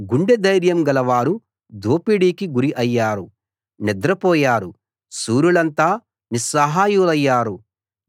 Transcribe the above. గుండె ధైర్యం గలవారు దోపిడికి గురి అయ్యారు నిద్రపోయారు శూరులంతా నిస్సహాయులయ్యారు